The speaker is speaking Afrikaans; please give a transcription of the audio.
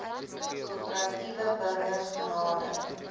korporatiewe burgers genader